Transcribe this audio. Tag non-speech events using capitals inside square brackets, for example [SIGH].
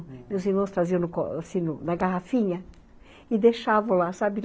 E os irmãos traziam [UNINTELLIGIBLE] na garrafinha e deixavam lá, sabe?